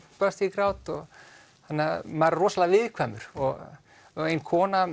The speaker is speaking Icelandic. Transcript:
brast ég í grát þannig að maður er rosalega viðkvæmur og ein kona